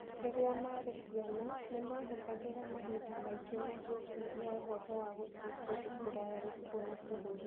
Rĩrĩa maarĩ ciana, nĩ maahũthagĩra mahinda maingĩ magĩciria ũhoro wa gũthiĩ kũndũ kũraya na kuona bũrũri